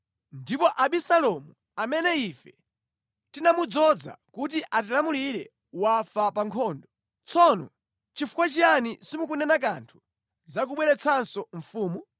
Ndipo Abisalomu amene ife tinamudzoza kuti atilamulire wafa pa nkhondo. Tsono nʼchifukwa chiyani simukunena kanthu za kubweretsanso mfumu?”